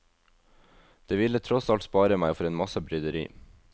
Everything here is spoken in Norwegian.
Det ville tross alt spare meg for en masse bryderi.